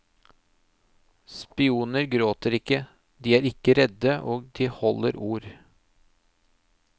Spioner gråter ikke, de er ikke redde, og de holder ord.